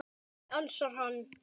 Nei, ansar hann.